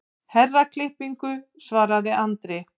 Herraklippingu, svaraði Andri.